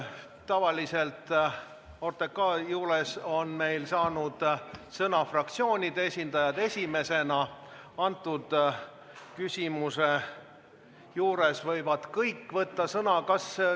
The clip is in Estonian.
Tavaliselt on OTRK arutelul saanud esimesena sõna fraktsioonide esindajad, antud küsimuse arutelul võivad kõik sõna võtta.